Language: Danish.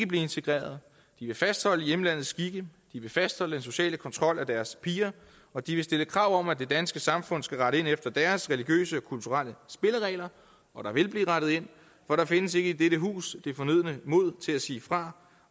blive integreret de vil fastholde hjemlandets skikke de vil fastholde den sociale kontrol af deres piger og de vil stille krav om at det danske samfund skal rette ind efter deres religiøse og kulturelle spilleregler og der vil blive rettet ind for der findes ikke i dette hus det fornødne mod til at sige fra